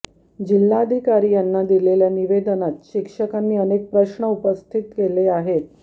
जिल्हाधिकारी यांना दिलेल्या निवेदनात शिक्षकांनी अनेक प्रश्न उपस्थित केले आहेत